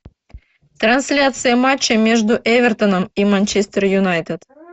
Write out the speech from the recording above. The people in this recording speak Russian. трансляция матча между эвертоном и манчестер юнайтед